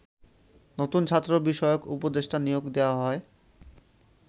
নতুন ছাত্র বিষয়ক উপদেষ্টা নিয়োগ দেয়া হয়